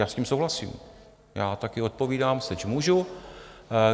Já s tím souhlasím, já také odpovídám, seč můžu.